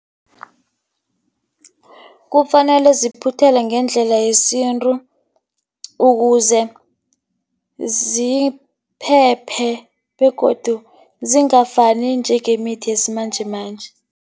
Kufanele ziphuthelwe ngendlela yesintu, ukuze ziphephe begodu zingafani njengemithi yesimanjemanje.